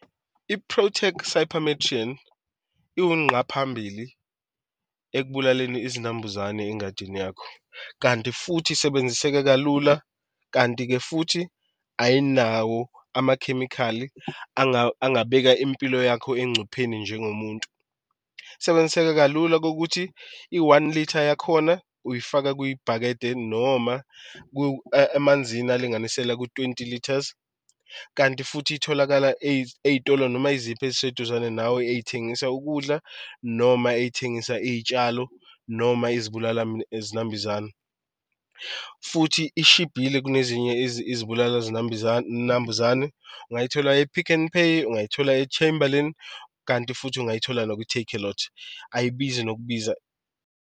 I-Protek cypermethrin iwunqa phambili ekubulaleni izinambuzane engadini yakho, kanti futhi isebenziseka kalula, kanti-ke futhi ayinawo amakhemikhali angabeka impilo yakho engcupheni njengomuntu. Isebenziseka kalula ukuthi i-one litre yakhona uyifaka kwibhakede noma emanzini alinganiselwa kwi-twenty litres, kanti futhi itholakala ey'tolo noma eziphi eziseduzane nawe ey'thengisa ukudla noma ey'thengisa iy'tshalo noma izibulali zinambuzane futhi ishibhile kunezinye izibulala zinambuzane, ungayithola e-Pick n Pay, ungayithola e-Chamberlin kanti futhi ungayithola nakwi-Takealot ayibizi nokubiza.